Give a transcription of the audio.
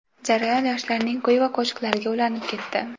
jarayon yoshlarning kuy va qo‘shiqlariga ulanib ketdi.